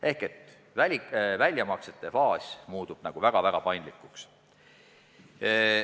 Ehk teisisõnu, väljamaksete faas muutub väga-väga paindlikuks.